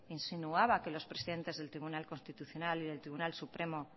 insinuaba que los presidentes el tribunal constitucional y del tribunal supremo